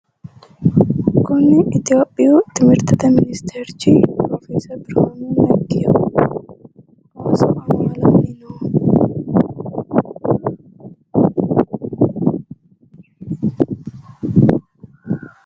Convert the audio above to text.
kuni itiyopiyu timirtete ministerchi pirofeseri birhanu neggiho ooso amaalanni no.